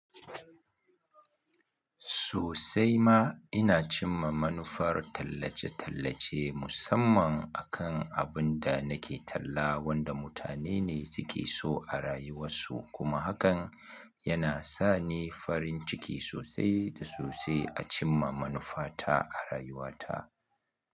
Sosai ma ina cimma manufar tallace-tallace musamman akan abin da nake talla wanda mutane ne suke so a rayuwasu kuma hakan yana sa ni farin ciki sosai da sosai a cimma manufa ta a rayuwata.